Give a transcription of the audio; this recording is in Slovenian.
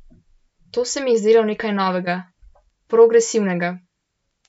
To se mi je zdelo nekaj novega, progresivnega.